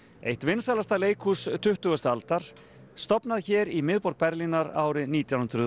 eitt vinsælasta leikhús tuttugustu aldar stofnað hér í miðborg Berlínar árið nítján hundruð